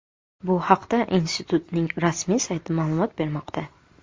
Bu haqda institutning rasmiy sayti ma’lumot bermoqda .